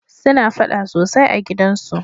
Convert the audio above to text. suna faɗa sosai a gidan su